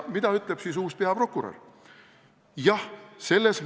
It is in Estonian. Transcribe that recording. Mida ütleb siis uus peaprokurör?